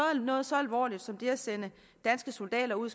noget så alvorligt som det at sende danske soldater ud